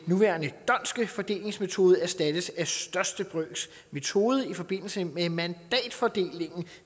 nuværende dhondtske fordelingsmetode erstattes af den største brøks metode i forbindelse med mandatfordelingen